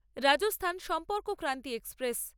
Rajasthan Sampark Kranti express